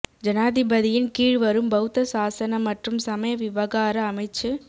ஜனாதிபதியின் கீழ் வரும் பௌத்த சாசன மற்றும் சமய விவகார அமைச்சு